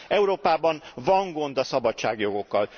Európában van gond a szabadságjogokkal.